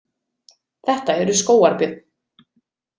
Þetta eru skógarbjörn.